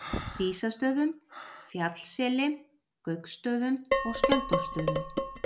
Dísastöðum, Fjallsseli, Gauksstöðum og Skjöldólfsstöðum.